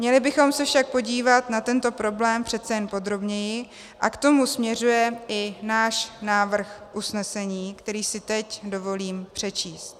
Měli bychom se však podívat na tento problém přeci jen podrobněji a k tomu směřuje i náš návrh usnesení, který si teď dovolím přečíst: